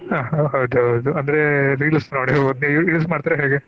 ಆಹ್ ಹೌದ ಹೌದು ಅಂದ್ರೆ reels ನೋಡಿ ಅವು ನೀವ್ use ಮಾಡ್ತಿರಾ ಹೇಗೆ?